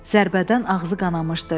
Zərbədən ağzı qanamışdı.